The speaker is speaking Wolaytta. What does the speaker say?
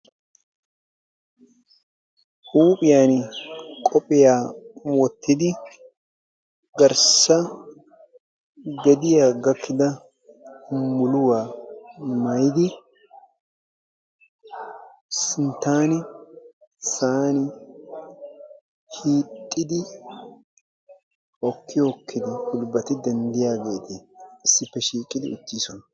huuphiyaani qophiyaa wottidi garssa gediyaa gakkida muluwaa maayidi sinttaani sa'aani hiixxidi hokki hokkidi gulbbati denddiyaageeti issippe shiiqidi uttiisona.